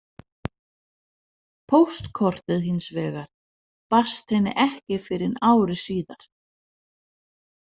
Póstkortið hins vegar barst henni ekki fyrr en ári síðar.